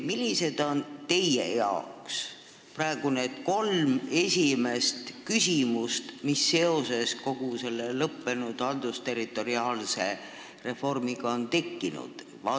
Millised on teie jaoks praegu kolm põhilist küsimust, mis seoses kogu selle haldusterritoriaalse reformiga on tekkinud?